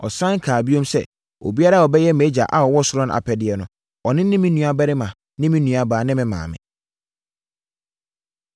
Ɔsane kaa bio sɛ, “Obiara a ɔbɛyɛ mʼagya a ɔwɔ ɔsoro no apɛdeɛ no, ɔno ne me nuabarima, ne me nuabaa ne me maame”.